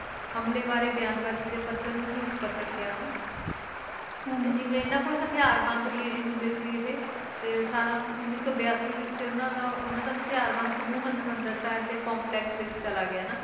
ਹਮਲੇ ਬਾਰੇ ਬਿਆਨਬਾਜ਼ੀ ਦੇ ਪੱਧਰ ਨੂੰ ਵੀ ਉੱਪਰ ਚੁੱਕਿਆ ਵਾ ਤੇ ਜਿਵੇਂ ਇਨ੍ਹਾਂ ਕੋਲ ਹਥਿਆਰਬੰਦ ਵੀ ਇਹ ਹੁੰਦੇ ਸੀ ਹੈ ਤੇ ਅਠਾਰਾਂ ਉੱਨੀ ਸੌ ਬਿਆਸੀ ਵਿੱਚ ਉਨ੍ਹਾਂ ਦਾ ਉਨ੍ਹਾਂ ਦਾ ਹਥਿਆਰ ਹਰਿਮੰਦਿਰ ਸਾਹਿਬ ਦੇ ਕੰਪਲੈਕਸ ਵਿੱਚ ਚਲਾ ਗਿਆ ਨਾ